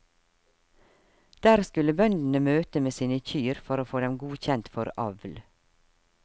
Der skulle bøndene møte med sine kyr for å få dem godkjent for avl.